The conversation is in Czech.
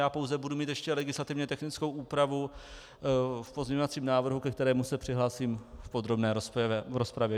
Já pouze budu mít ještě legislativně technickou úpravu v pozměňovacím návrhu, ke kterému se přihlásím v podrobné rozpravě.